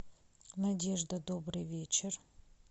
надежда добрый вечер